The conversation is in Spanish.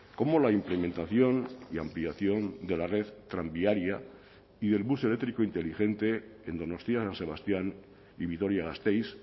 como la implementación y ampliación de la red tranviaria y del bus eléctrico inteligente en donostia san sebastián y vitoria gasteiz